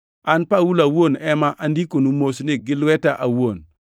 An Paulo awuon ema andikonu mosni gi lweta awuon.